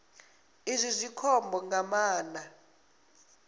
izwi zwi khombo nga maanḓa